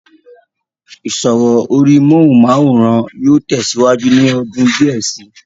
ìsọ̀rọ̀ orí móhùnmáwòrán yóò tẹ̀ síwájú ní ọdún díẹ̀ sí i